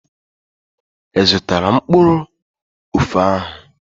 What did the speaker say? I zụtala mkpụrụ ofe ahụ?